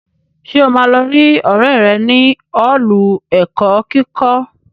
Ṣé o máa lọ rí ọrẹ rẹ nínu Ọ́ọ̀lù ẹ̀kọ́ kíkọ́?